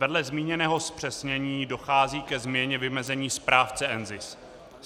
Vedle zmíněného zpřesnění dochází ke změně vymezení správce NZIS.